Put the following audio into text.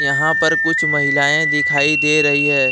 यहां पर कुछ महिलाएं दिखाई दे रही है।